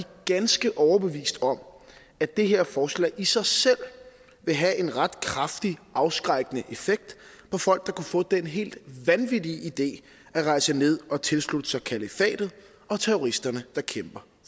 ganske overbevist om at det her forslag i sig selv vil have en ret kraftig afskrækkende effekt på folk der kunne få den helt vanvittige idé at rejse ned og tilslutte sig kalifatet og terroristerne der kæmper